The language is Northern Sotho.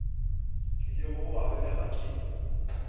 tlilego go ba belega ke